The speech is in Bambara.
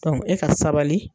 e ka sabali.